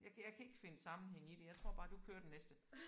Jeg kan jeg kan ikke finde sammenhæng i det. Jeg tror bare du kører den næste